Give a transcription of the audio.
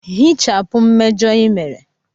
Hichapụ mmejọ ị mere!